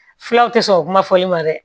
Fulaw te sɔn o kuma fɔli ma dɛ